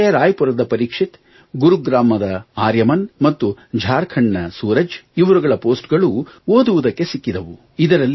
ಹಾಗೆಯೇ ರಾಯಪುರದ ಪರೀಕ್ಷಿತ್ ಗುರುಗ್ರಾಮದ ಆರ್ಯಮನ್ ಮತ್ತು ಝಾಖರ್ಂಡ್ ನ ಸೂರಜ್ ಇವರುಗಳ ಪೊಸ್ಟ್ ಗಳೂ ಓದುವುದಕ್ಕೆ ಸಿಕ್ಕಿದವು